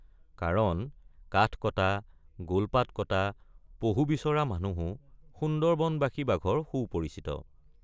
কাৰণ কাঠ কটা গোলপাত কটা পহু বিচৰা মানুহো সুন্দৰবনবাসী বাঘৰ সুপৰিচিত।